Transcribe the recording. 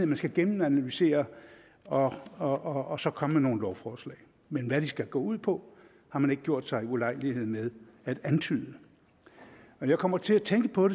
man skal gennemanalysere og og så komme med nogle lovforslag men hvad de skal gå ud på har man ikke gjort sig ulejlighed med at antyde når jeg kommer til at tænke på